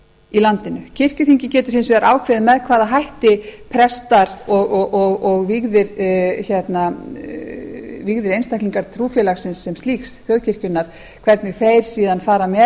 í landinu kirkjuþing getur hins vegar ákveðið með hvaða hætti prestar og vígðir einstaklingar trúfélagsins sem slíks þjóðkirkjunnar hvernig þeir síðan fara með